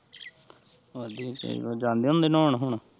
ਵਧੀਆ ਚਾਹੀਦਾ, ਜਾਂਦੇ ਹੁੰਦੇ ਨਾਉਣ ਹੁਣ?